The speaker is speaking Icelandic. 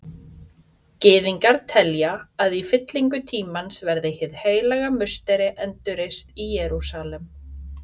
Gyðingar telja að í fyllingu tímans verði Hið heilaga musteri endurreist í Jerúsalem.